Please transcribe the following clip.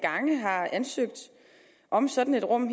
gange har ansøgt om sådan et rum